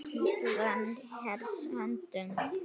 Ísland í hers höndum